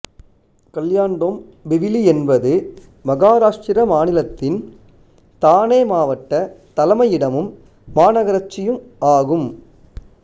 கல்யாண்டொம்பிவிலி என்பது மகாராஷ்டிரா மாநிலத்தின் தானே மாவட்ட தலைமையிடமும் மாநகராட்சியும் ஆகும்